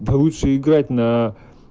лучше играть на